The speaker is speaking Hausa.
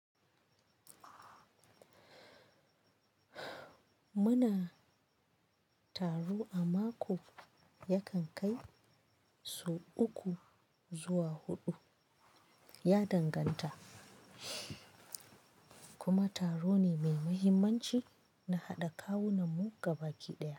Muna taro a mako yakan kai so uku zuwa huɗu, ya danganta. Kuma taro ne mai mahimmanci na haɗa kawunan mu ga baki ɗaya.